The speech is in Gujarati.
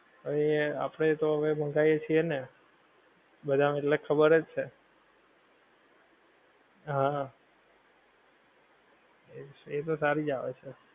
હવે એ આપડે તો હવે મંગાઈયેં છે ને, બધાં ને એટલે ખબરજ છે, હા એ તો સારીજ આવે છે